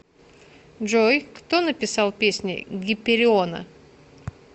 джой кто написал песни гипериона